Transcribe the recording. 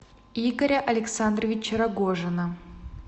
игоря александровича рогожина